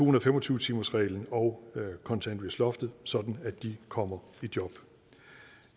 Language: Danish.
og fem og tyve timersreglen og kontanthjælpsloftet sådan at de kommer i job